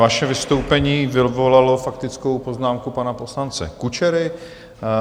Vaše vystoupení vyvolalo faktickou poznámku pana poslance Kučery.